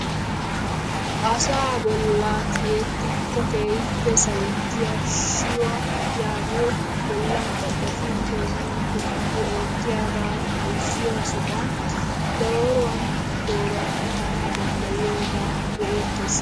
Asaa bollaa a tiyettikko keehippe sawettiyaa shiyyuwaa yaagiyoo bollan caccafin peenuwaa tonggu oottiyaaga bayzziyoo sohuwaan dooruwan dooruwaan ekanawu danddayiyoogaa be'eettes!